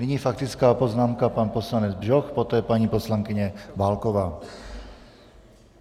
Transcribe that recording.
Nyní faktická poznámka, pan poslanec Bžoch, poté paní poslankyně Válková.